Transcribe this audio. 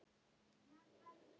Hvar sástu hann? spurði Lúlli.